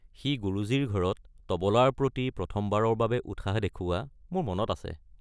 সি গুৰুজীৰ ঘৰত তবলাৰ প্ৰতি প্ৰথমবাৰৰ বাবে উৎসাহ দেখুওৱা মোৰ মনত আছে।